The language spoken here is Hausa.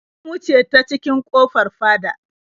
Mun wuce ta cikin ƙofar fada.